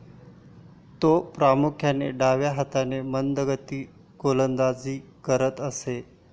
तो प्रामुख्याने डाव्या हाताने मंदगती गोलंदाजी करत असे.